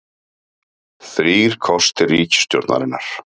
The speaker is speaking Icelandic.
Þrír kostir ríkisstjórnarinnar